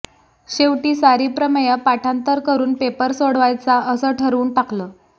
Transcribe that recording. शेवटी सारी प्रमेयं पाठांतर करून पेपर सोडवायचा असं ठरवून टाकलं